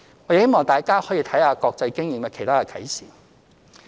我希望大家看看國際經驗的其他啟示。